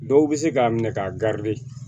Dɔw bɛ se k'a minɛ k'a